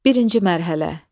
Birinci mərhələ.